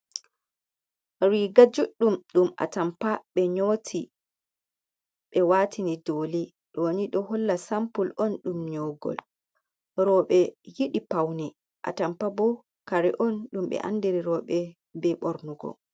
Riga juɗɗum ɗum atampa ɓe nyoti ɓe watini doli, ɗo ni ɗo holla sampul on ɗum nyogol, rooɓe yiɗi paune, atampa bo kare on ɗum ɓe andiri rooɓe be ɓornugo.